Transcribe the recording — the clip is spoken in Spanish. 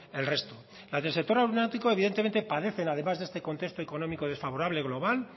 el resto las del sector aeronáutico evidentemente padecen además de este contexto económico desfavorable global